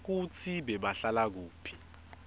kutsi bebahlala kuphi